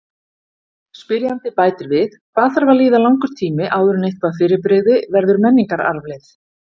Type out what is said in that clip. Spyrjandi bætir við: Hvað þarf að líða langur tími áður en eitthvað fyrirbrigði verður menningararfleifð?